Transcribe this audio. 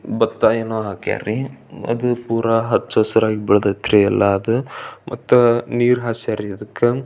ಬತ್ತಾ ಏನೋ ಹಾಕ್ಯಾರೀ ಅದು ಪುರಾ ಹಚ್ಚ ಹಸ್ರಾಗಿ ಬೆಳದ್ಯತ್ರಿ ಎಲ್ಲಾ ಅದು ಮತ್ತ ನೀರ್ ಹಾಸ್ಯರ್ ಇದಕ್.